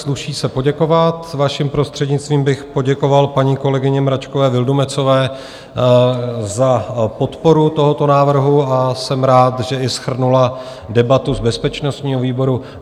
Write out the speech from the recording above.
Sluší se poděkovat, vaším prostřednictvím bych poděkoval paní kolegyni Mračkové Vildumetzové za podporu tohoto návrhu, a jsem rád, že i shrnula debatu z bezpečnostního výboru.